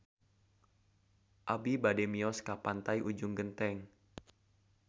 Abi bade mios ka Pantai Ujung Genteng